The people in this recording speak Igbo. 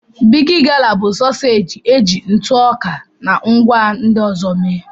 Bigi gala bụ sọseeji eji ntụ ọka na ngwá ndị ọzọ mee.